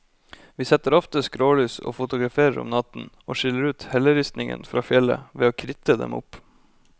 Vi setter ofte skrålys og fotograferer om natten, og skiller ut helleristningen fra fjellet ved å kritte dem opp.